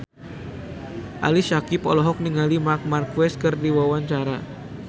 Ali Syakieb olohok ningali Marc Marquez keur diwawancara